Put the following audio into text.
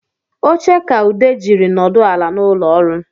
Oche ka Ude jiri nọdụ ala n’ụlọọrụ